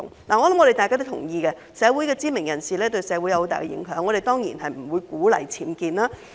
我相信大家都同意，社會的知名人士對社會有很大影響，我們當然不會鼓勵僭建。